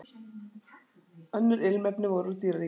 Önnur ilmefni voru úr dýraríkinu.